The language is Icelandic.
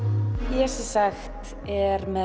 ég er með